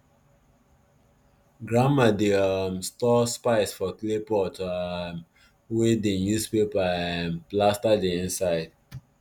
grandma dey um store spice for clay pot um wey dem use paper um plaster the inside